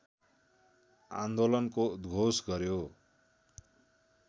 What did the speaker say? आन्दोलनको उद्घोष गर्‍यो